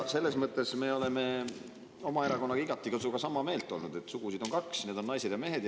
Selles mõttes on meie erakond sinuga igati sama meelt, et sugusid on kaks, need on naised ja mehed.